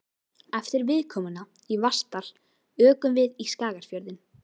Eftir viðkomuna í Vatnsdal ökum við í Skagafjörðinn.